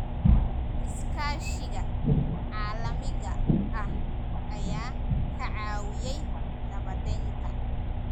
Iskaashiga caalamiga ah ayaa ka caawiyay nabadaynta.